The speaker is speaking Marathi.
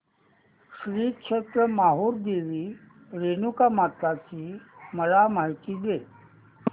श्री क्षेत्र माहूर देवी रेणुकामाता ची मला माहिती दे